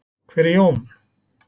Hver er Jón?